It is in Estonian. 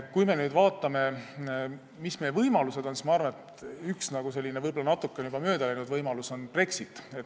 Kui me nüüd vaatame, mis meie võimalused on, siis ma arvan, et üks võib-olla natuke juba möödaläinud võimalus on Brexit.